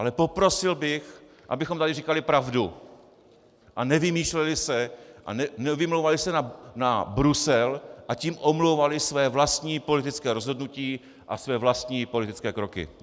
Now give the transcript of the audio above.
Ale poprosil bych, abychom tady říkali pravdu a nevymýšleli si a nevymlouvali se na Brusel, a tím omlouvali své vlastní politické rozhodnutí a své vlastní politické kroky.